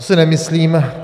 To si nemyslím.